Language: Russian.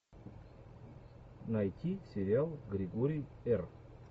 найти сериал григорий р